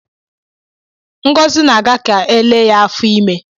Ngọzi na-aga ka elee ya afọ ime ya.